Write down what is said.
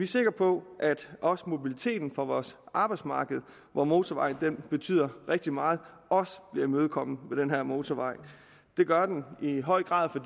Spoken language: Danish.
sikre på at også mobiliteten for vores arbejdsmarked hvor motorvejen betyder rigtig meget også bliver imødekommet med den her motorvej det gør den i høj grad for